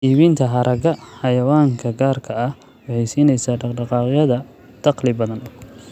Iibinta haragga xayawaanka gaarka ah waxay siinaysaa dhaq-dhaqaaqyada dakhli badan.